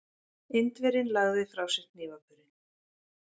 Indverjinn lagði frá sér hnífapörin.